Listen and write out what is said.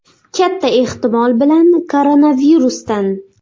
Katta ehtimol bilan koronavirusdan.